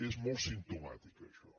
és molt simptomàtic això